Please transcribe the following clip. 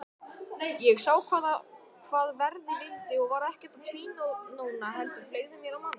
Ég sá hvað verða vildi og var ekkert að tvínóna heldur fleygði mér á manninn.